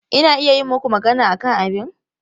Ina iya yi maku magana akan abin?